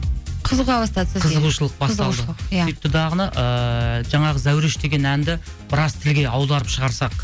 қызыға бастады қызығушылық басталды иә сөйтті дағыны ыыы жаңағы зәуреш деген әнді біраз тілге аударып шығарсақ